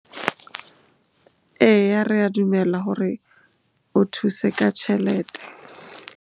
Eya, re a dumela hore o thuse ka tjhelete.